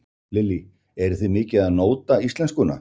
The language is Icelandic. Lillý: Eruð þið mikið að nóta íslenskuna?